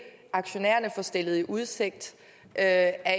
aktionærerne får stillet i udsigt af